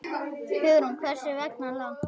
Hugrún: Hversu, hversu langt?